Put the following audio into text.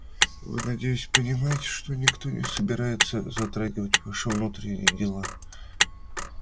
вы надеюсь понимаете что никто не собирается затрагивать ваши внутренние дела